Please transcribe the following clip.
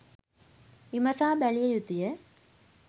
විමසා බැලිය යුතු ය